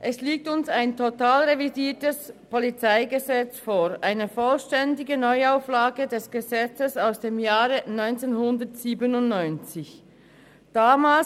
Es liegt uns ein totalrevidiertes PolG vor, eine vollständige Neuauflage des Gesetzes aus dem Jahr 1997.